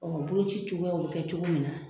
Ɔn boloci cogoyaw be kɛ cogo min na